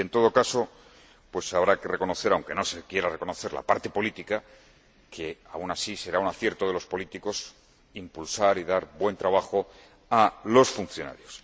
Y, en todo caso, habrá que reconocer, aunque no se quiera reconocer la parte política, que, aun así, será un acierto de los políticos impulsar y dar buen trabajo a los funcionarios.